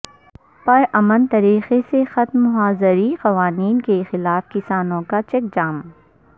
پر امن طریقے سے ختم ہوا زرعی قوانین کے خلاف کسانوں کا چکہ جام